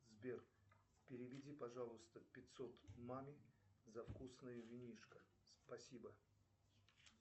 сбер переведи пожалуйста пятьсот маме за вкусное винишко спасибо